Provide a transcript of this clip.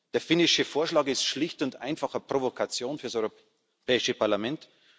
Der finnische Vorschlag ist schlicht und einfach eine Provokation für das Europäische Parlament.